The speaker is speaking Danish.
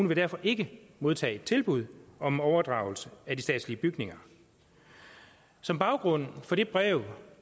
vil derfor ikke modtage et tilbud om overdragelse af de statslige bygninger som baggrund for det brev